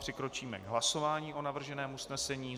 Přikročíme k hlasování o navrženém usnesení.